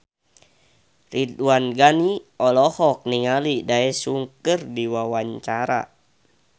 Ridwan Ghani olohok ningali Daesung keur diwawancara